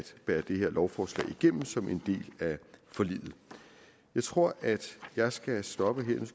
bære det her lovforslag igennem som en del af forliget jeg tror at jeg skal stoppe her